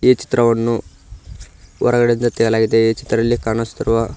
ಈ ಚಿತ್ರವನ್ನು ಹೊರಗಡೆಯಿಂದ ತೇಲಾ ಇದೆ ಈ ಚಿತ್ರದಲ್ಲಿ ಕಾಣಿಸುತ್ತಿರುವ --